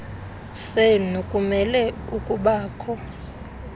senu kumele ukubakho